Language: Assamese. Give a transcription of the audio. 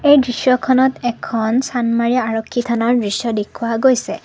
এই দৃশ্যখনত এখন চান্দমাৰী আৰক্ষী থানাৰ দৃশ্য দেখুওৱা গৈছে।